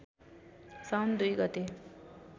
साउन २ गते